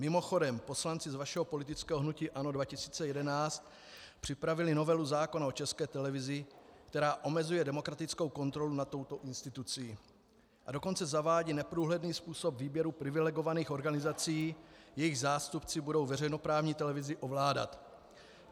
Mimochodem poslanci z vašeho politického hnutí ANO 2011 připravili novelu zákona o České televizi, která omezuje demokratickou kontrolu nad touto institucí, a dokonce zavádí neprůhledný způsob výběru privilegovaných organizací, jejichž zástupci budou veřejnoprávní televizi ovládat.